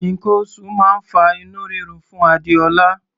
Nǹkan oṣù máa ń fa inú rírun fún Adéọlá.